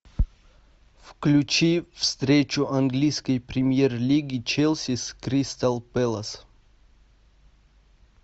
включи встречу английской премьер лиги челси с кристал пэлас